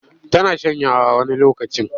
Tana shanyawa wani lokacin.